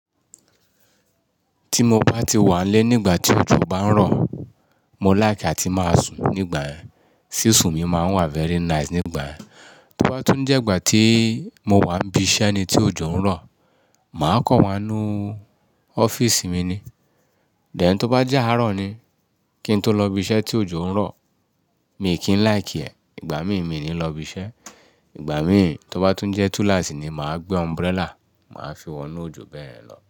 Tí mo bá ti wà nlé nígbà tí òjò bá ń rọ̀, mo like àti máa sùn nígbà yẹn, sísùn mi máa ń wà very nice nígbà yẹn. Tí ó bá tún jẹ́ ìgbà tí mo wà ń bi iṣẹ́ ni tí òjò ń rọ̀, màá kọ̀ wá nú ọ́fíìsì mi ni. Then tí ó bá jẹ́ àárọ̀ ni kí n tó lọ ibi iṣẹ́ tí òjò ń rọ̀, mi kì í like ẹ̀, ìgbà mí mi ni lọ ibi iṣẹ́. Ìgbà mí tí ó bá tún jẹ́ túnláàsì ni màá gbé umbrella, màá fi wọnú òjò bẹ́ẹ̀ yen lọ.